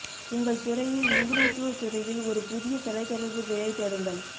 உங்கள் துறையில் நிபுணத்துவ துறையில் ஒரு புதிய தொலைதொடர்பு வேலை தேடுங்கள்